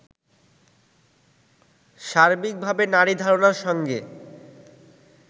সার্বিকভাবে নারী ধারণার সঙ্গে